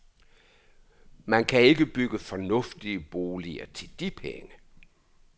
Man kan ikke bygge fornuftige boliger til de penge.